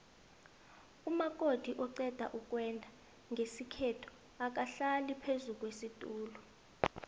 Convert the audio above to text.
umakoti oqedukwenda nqesikhethu akahlali phezukwesitula